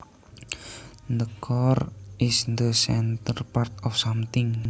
The core is the centre part of something